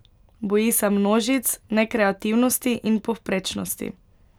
Boji se množic, nekreativnosti in povprečnosti.